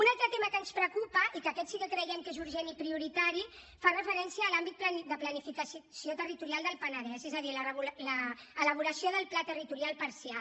un altre tema que ens preocupa i aquest sí que creiem que és urgent i prioritari fa referència a l’àmbit de planificació territorial del penedès és a dir l’elaboració del pla territorial parcial